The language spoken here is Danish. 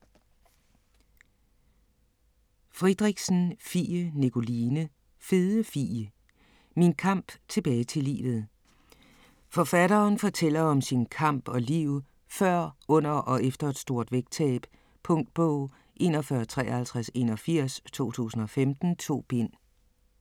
Friedrichsen, Fie Nikoline: Fede Fie: min kamp tilbage til livet Forfatteren fortæller om sin kamp og liv før, under og efter et stort vægttab. Punktbog 415381 2015. 2 bind.